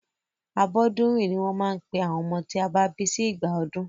Abọ́dúnrìn ní wọ́n máa ń pe àwọn ọmọ tí a bí sí ìgbà ọdún.